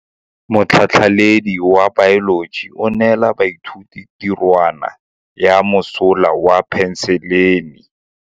Motlhatlhaledi wa baeloji o neela baithuti tirwana ya mosola wa peniselene.